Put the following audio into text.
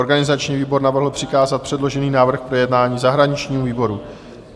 Organizační výbor navrhl přikázat předložený návrh k projednání Zahraničnímu výboru.